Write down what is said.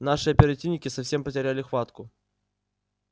наши оперативники совсем потеряли хватку